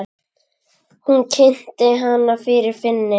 Hún kynnti hana fyrir Finni.